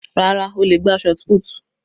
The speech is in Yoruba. Rárá, ó le gbá shotput.